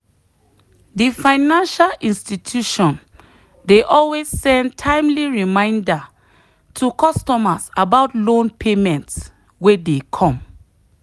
the financial institution dey always send timely reminder to customers about loan payment wey dey come.